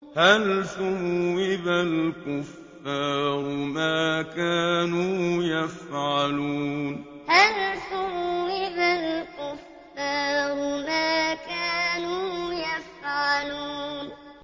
هَلْ ثُوِّبَ الْكُفَّارُ مَا كَانُوا يَفْعَلُونَ هَلْ ثُوِّبَ الْكُفَّارُ مَا كَانُوا يَفْعَلُونَ